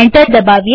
enter દબાવીએ